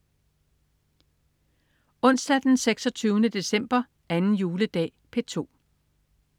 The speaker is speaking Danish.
Onsdag den 26. december. 2. juledag - P2: